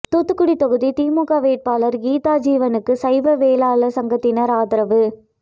தூத்துக்குடி ெதாகுதி திமுக வேட்பாளர் கீதாஜீவனுக்கு சைவ வேளாளர் சங்கத்தினர் ஆதரவு